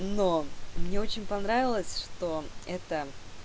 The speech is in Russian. но мне очень понравилось что это